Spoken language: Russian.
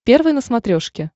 первый на смотрешке